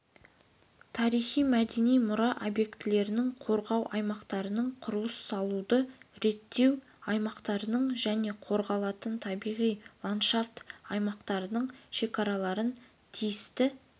тарихи-мәдени мұра объектілерінің қорғау аймақтарының құрылыс салуды реттеу аймақтарының және қорғалатын табиғи ландшафт аймақтарының шекараларын тиісті